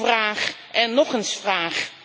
vraag en nog eens vraag.